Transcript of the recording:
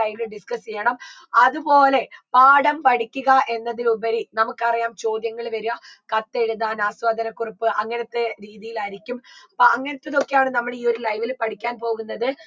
live ൽ discuss യ്യണം അത്പോലെ പാഠം പഠിക്കുക എന്നതിലുപരി നമുക്കറിയാം ചോദ്യങ്ങൾ വരുവ കത്തെഴുതാൻ ആസ്വാദനക്കുറിപ്പ് അങ്ങനത്തെ രീതിയിലായിരിക്കും അപ്പൊ അങ്ങനത്തതൊക്കെയാണ് നമ്മൾ ഈ ഒരു live ൽ പഠിക്കാൻ പോകുന്നത്